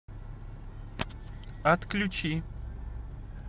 отключи